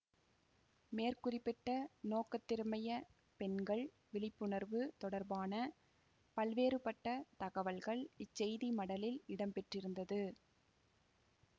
மேற்குறிப்பிட்ட நோக்கத்திற்கமைய பெண்கள் விழிப்புணர்வு தொடர்பான பல்வேறுபட்ட தகவல்கள் இச்செய்தி மடலில் இடம்பெற்றிருந்தது